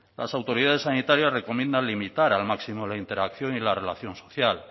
las autoridades sanitarias recomiendan limitar al máximo la interacción y la relación social